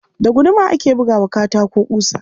Da guduma ake buga wa katako ƙusa.